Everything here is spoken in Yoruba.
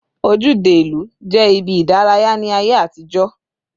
Ojúde ìlú jẹ́ ibi ìdárayá ní ayé àtijó.